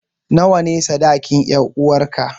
Nawa ne sadakin 'yaruwarka?